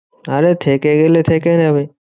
আরে থেকে গেলে থেকে যাবে।